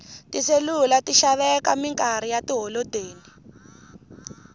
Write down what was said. tiselula ti xaveka minkarhi ya tiholodeni